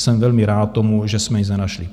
Jsem velmi rád tomu, že jsme nic nenašli.